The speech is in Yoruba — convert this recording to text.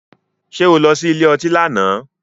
Ṣé o lọ sí ilé ọtí lánàá?